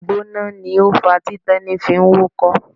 Ìgbóná ni ó fàá tí Tẹ́ní fi ń wúkọ́.